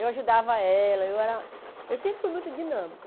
Eu ajudava ela, eu era... Eu sempre fui muito dinâmica.